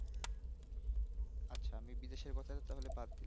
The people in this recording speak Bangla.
আচ্ছা আমি বিদেশের কথা তাহলে বাদ দিলাম